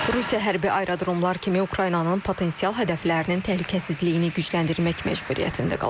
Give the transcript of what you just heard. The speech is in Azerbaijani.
Rusiya hərbi aerodromlar kimi Ukraynanın potensial hədəflərinin təhlükəsizliyini gücləndirmək məcburiyyətində qalacaq.